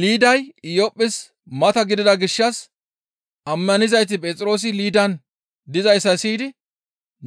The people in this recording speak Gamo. Liiday Iyophphes mata gidida gishshas ammanizayti Phexroosi Liidan dizayssa siyidi